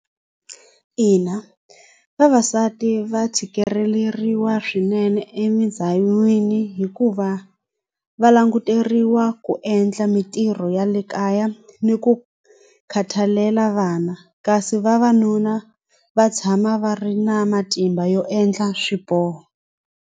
Ina vavasati va tshikeleriwa swinene hikuva va languteriwa ku endla mintirho ya le kaya ni ku khathalela vana kasi vavanuna va tshama va ri na matimba yo endla swiboho.